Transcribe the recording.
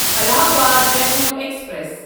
Allahabad Jaipur express